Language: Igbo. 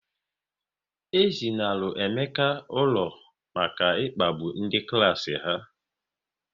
E zinalu Emeka ụlọ maka ịkpagbu ndị klas ha